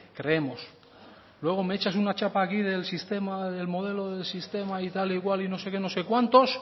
creemos luego me echas una chapa aquí del sistema del modelo del sistema y tal y cual y no sé qué no sé cuántos